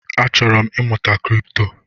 Achọrọ m ịmụta Kripto